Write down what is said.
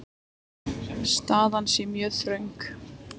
Staðan sé mjög þröng.